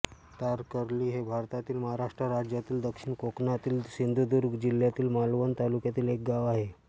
तारकर्ली हे भारतातील महाराष्ट्र राज्यातील दक्षिण कोकणातील सिंधुदुर्ग जिल्ह्यातील मालवण तालुक्यातील एक गाव आहे